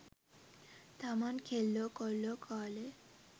තමන් කෙල්ලෝ කොල්ලෝ කාලේ